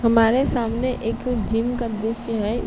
हमारे सामने एक जिम का दृश्य है।